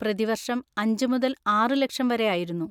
പ്രതിവർഷം അഞ്ച് മുതൽ ആറ് ലക്ഷം വരെ ആയിരുന്നു.